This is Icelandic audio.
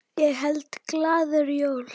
Ég held glaður jól.